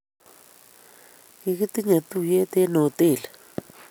kikitinye tuyie eng' hotelit